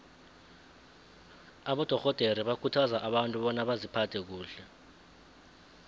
abadorhodere bakhuthaza abantu bona baziphathe kuhle